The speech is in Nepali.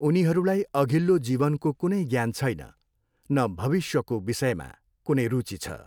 उनीहरूलाई अघिल्लाे जीवनकाे कुनै ज्ञान छैन, न भविष्यकाे विषयमा कुनै रुची छ।